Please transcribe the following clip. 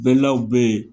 Bɛlaw bɛ yen